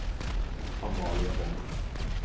Amalie Hovden